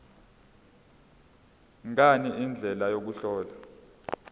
ngani indlela yokuhlola